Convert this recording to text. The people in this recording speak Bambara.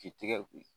K'i tigɛ ko